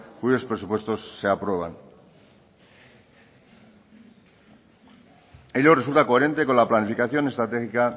cuyos presupuestos se aprueban ello resulta coherente con la planificación estratégica